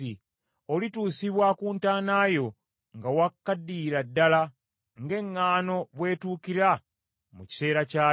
Olituusibwa ku ntaana yo nga wakaddiyira ddala, ng’eŋŋaano bwe tuukira mu kiseera kyayo.